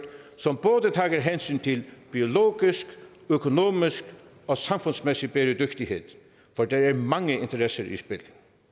som både tager hensyn til biologisk økonomisk og samfundsmæssig bæredygtighed for der er mange interesser i spil